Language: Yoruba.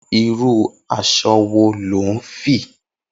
Irù àṣọ̀ wó ló n fi?